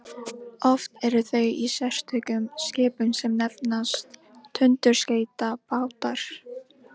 oft eru þau í sérstökum skipum sem nefnast tundurskeytabátar